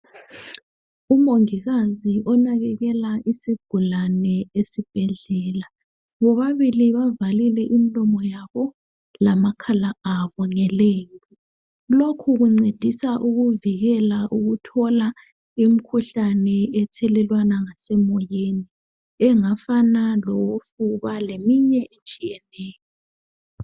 Umongikazi onakelela isigulane esibhedlela bobabili bavalile imlomo yabo lamakhala abo ngelembu, lokhu kuncedisa ukuvikela ukuthola imkhuhlane esiyibona ngasemoyeni engafana lofuba leminye etshiyeneyo.